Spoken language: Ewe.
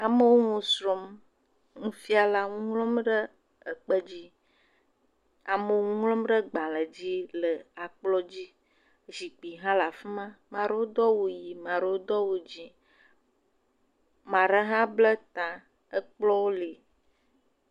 Amewo nu srɔ̃m. nufiala nu ŋlɔm ɖ ekpe dzi. Amewo nu ŋlɔm ɖe gbale dzi le akplɔ dzi. Zikpui hã le afi ma. Ame aɛewo do awu ʋi ame aɖewo do awu dzi. ame aɖe hã ble ta, ekplɔwo li.